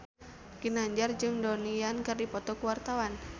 Ginanjar jeung Donnie Yan keur dipoto ku wartawan